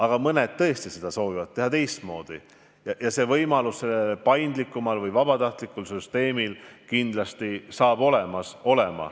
Ent mõned tõesti seda soovivad teha ja see võimalus tänu paindlikumale vabatahtlikkusel põhinevale süsteemile kindlasti saab olema.